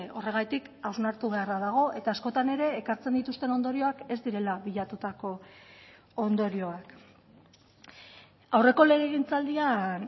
horregatik hausnartu beharra dago eta askotan ere ekartzen dituzten ondorioak ez direla bilatutako ondorioak aurreko legegintzaldian